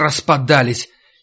распадались